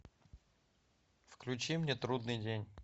включи мне трудный день